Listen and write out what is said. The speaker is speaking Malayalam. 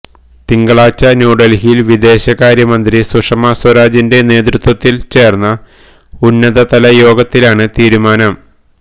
തിങ്കളാഴ്ച ന്യൂഡൽഹിയിൽ വിദേശകാര്യമന്ത്രി സുഷമാ സ്വരാജിന്റെ നേതൃത്വത്തിൽ ചേർന്ന ഉന്നതതലയോഗത്തിലാണ് തീരുമാനം